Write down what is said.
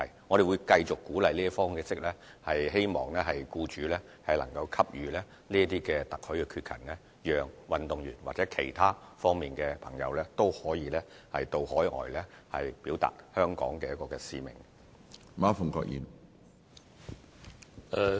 我們會繼續以這種鼓勵的方式，希望僱主能夠給予特許缺勤，讓運動員或其他方面的朋友均可到海外表達香港的使命。